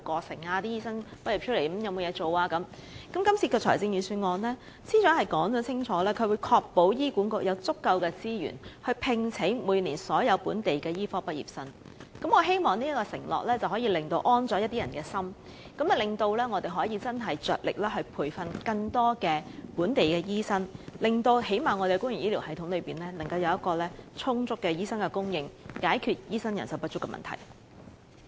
司長在今次的預算案中清楚表明會確保醫院管理局有足夠資源聘請每年所有本地醫科畢業生，我希望這個承諾能讓某些人安心，讓香港着力培訓更多本地醫生，最少也可令我們的公營醫療系統有充足的醫生供應，解決醫生人手不足的問題。